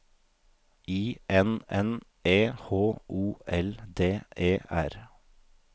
I N N E H O L D E R